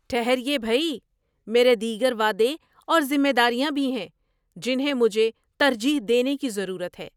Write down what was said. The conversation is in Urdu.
ٹھہریئے بھئی، میرے دیگر وعدے اور ذمہ داریاں بھی ہیں جنہیں مجھے ترجیح دینے کی ضرورت ہے۔